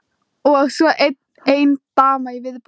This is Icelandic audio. Og svo ein dama í viðbót.